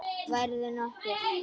Værirðu nokkuð.